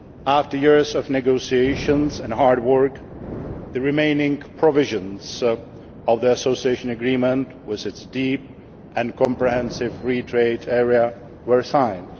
Union. After years of negotiations and hard work, the remaining provisions of the Association Agreement with its deep and comprehensive Free Trade Area were